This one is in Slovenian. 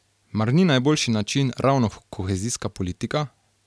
Mar ni najboljši način ravno kohezijska politika?